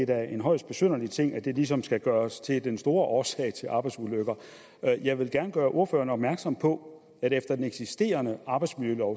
da en højst besynderlig ting at det ligesom skal gøres til den store årsag til arbejdsulykker jeg vil gerne gøre ordføreren opmærksom på at efter den eksisterende arbejdsmiljølov